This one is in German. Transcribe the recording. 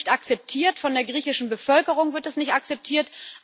Das wird nicht akzeptiert, von der griechischen Bevölkerung wird das nicht akzeptiert.